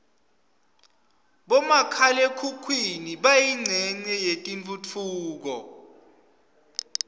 bomakhala khukhwini bayincenye yetentfutfuko